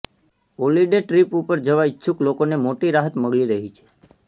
holiday trip ઉપર જવા ઇચ્છુક લોકોને મોટી રાહત મળી રહી છે